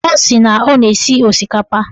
Ọ sị na ọ na-esi osikapa